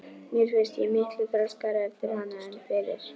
Mér fannst ég miklu þroskaðri eftir hana en fyrir.